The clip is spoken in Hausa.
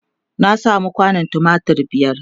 na samu kwandon tumatir biyar